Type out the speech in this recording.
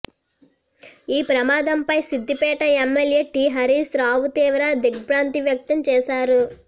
ఈ ప్రమాదంపై Siddipet MLA T Harish Rao తీవ్ర దిగ్బ్రాంతి వ్యక్తం చేశారు